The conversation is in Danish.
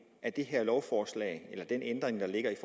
af det her lovforslag eller den ændring der ligger i